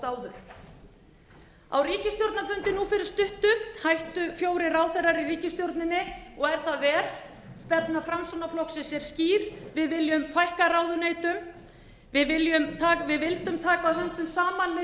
nú fyrir stuttu hættu fjórir ráðherrar í ríkisstjórnin og er það vel stefna framsóknarflokksins er skýr við viljum fækka ráðuneytum við vildum taka höndum saman með